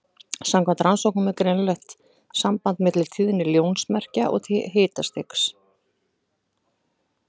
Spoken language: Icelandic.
Samkvæmt rannsóknum er greinilegt samband milli tíðni ljósmerkja og hitastigs.